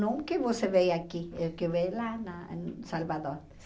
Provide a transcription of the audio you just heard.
Nunca você vê aqui, o que vê lá na em Salvador.